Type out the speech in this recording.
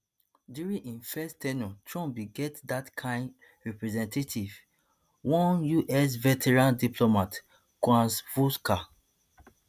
during im first ten ure trump bin get dat kain representative one us veteran diplomat kurt volker